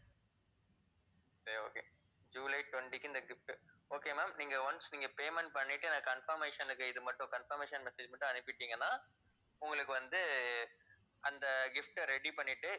சரி okay July twenty க்கு இந்த gift, okay ma'am நீங்க once நீங்க payment பண்ணிட்டு எனக்கு confirmation க்கு இது மட்டும் confirmation message மட்டும் அனுப்பிட்டீங்கன்னா உங்களுக்கு வந்து அந்த gift அ ready பண்ணிட்டு